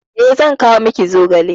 Eh, zan kawo miki zogale.